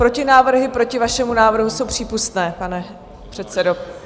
Protinávrhy proti vašemu návrhu jsou přípustné, pane předsedo.